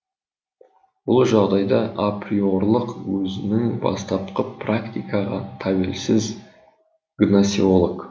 бұл жағдайда априорлық өзінің бастапқы практикаға тәуелсіз гносеолог